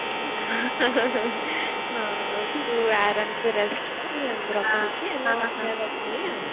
ହଁ ତୁ ଆରମସେ rest କର ହେଲା ମୁଁ ରଖୁଛି ଆମେ କଥା ହେବା ପୁଣି ଆଉ